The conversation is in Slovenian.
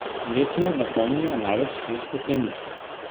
Letno napolnijo največ sto stekleničk.